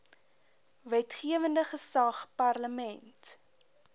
wetgewende gesag parlement